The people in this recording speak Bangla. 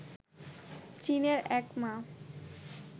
চীনের এক মা